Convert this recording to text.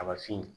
A ma fin